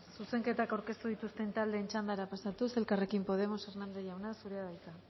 zuzenketak aurkeztu dituzten taldeen txandara pasatuz elkarrekin podemos hernández jauna zurea da hitza